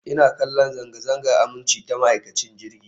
Ina kallon zanga-zangar aminci ta ma'aikacin jirgin